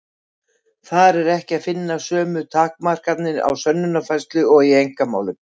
Þar er ekki að finna sömu takmarkanir á sönnunarfærslu og í einkamálum.